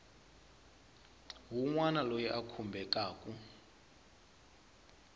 wun wana loyi a khumbekaku